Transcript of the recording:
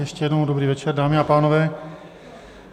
Ještě jednou dobrý večer, dámy a pánové.